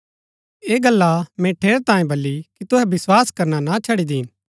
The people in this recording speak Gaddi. ऐह गल्ला मैंई ठेरैतांये बली कि तुहै विस्वास करना ना छड़ी दीन